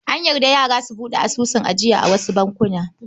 An yarda yara su buɗe asusun ajiya a wasu bankuna.